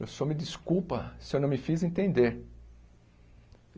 O senhor me desculpa se eu não me fiz entender.